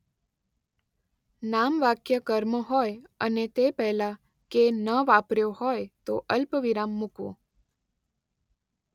નામવાક્ય કર્મ હોય અને તે પહેલાં ‘કે’ ન વાપર્યો હોય તો અલ્પવિરામ મૂકવું.